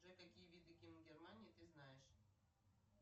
джой какие виды гимн германии ты знаешь